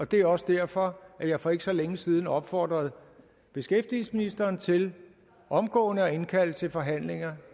det er også derfor jeg for ikke så længe siden opfordrede beskæftigelsesministeren til omgående at indkalde til forhandlinger